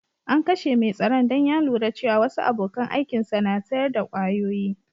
An kashe mai tsaron dan ya lura cewa wasu abokan aikin sa na sayar da kwayoyi.